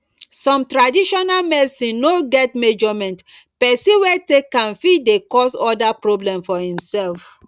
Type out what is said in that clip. some traditional medicine no get measurement person wey take am fit dey cause oda problem for imself